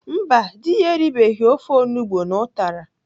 Mba, dị ya eribeghi ofe onugbo na ụtara.